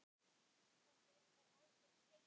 Þetta er reyndar algjör steypa.